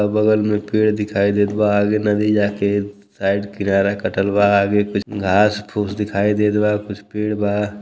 अगल बगल में पेड़ दिखाई देत बा। आगे नदी जाके साइड किनारे कटल बा। आगे कुछ घास फूस दिखाई देत बा। कुछ पेड़ बा।